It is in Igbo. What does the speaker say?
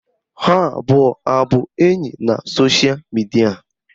Ha abụọ abụ enyi na sosha midia?